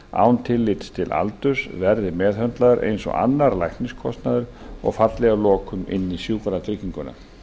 án tillits til aldurs verði meðhöndlaður eins og annar lækniskostnaður og falli að lokum inn í sjúkratrygginguna